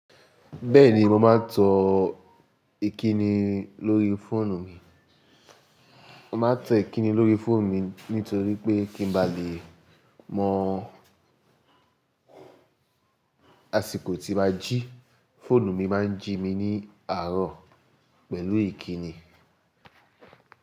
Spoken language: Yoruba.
Bẹ́ẹ̀ni mo máa ń tọ ẹkínní lórí fóònù mi. Mo máa ń tọ ẹkínní lórí fóònù mi nítorí pé kí n ba lè mọ̀ àsìkò tí a jí, fóònù mi máà ń jí mi ní àárọ̀ pẹ̀lú ìkíni.